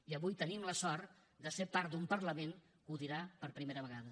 i avui tenim la sort de ser part d’un parlament que ho dirà per primera vegada